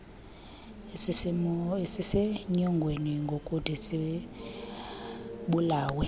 esisenyongweni ngokuthi sibulawe